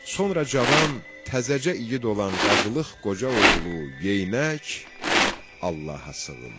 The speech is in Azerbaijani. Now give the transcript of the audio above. Sonra cavan, təzəcə igid olan qazılıq qoca oğlu Geyinək Allaha sığındı.